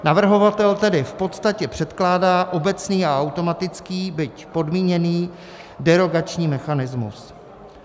Navrhovatel tedy v podstatě předkládá obecný a automatický, byť podmíněný derogační mechanismus.